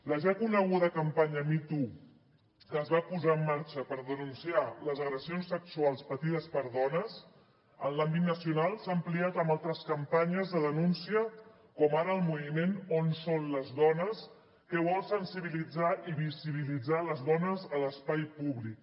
la ja coneguda campanya me too que es va posar en marxa per denunciar les agressions sexuals patides per dones en l’àmbit nacional s’ha ampliat amb altres campanyes de denúncia com ara el moviment on són les dones que vol sensibilitzar i visibilitzar les dones a l’espai públic